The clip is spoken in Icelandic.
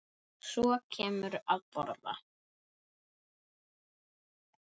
Og svo kemurðu að borða!